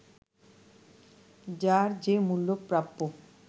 যার যে মূল্য প্রাপ্য